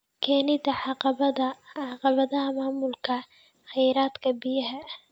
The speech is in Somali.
Keenida caqabadaha maamulka kheyraadka biyaha.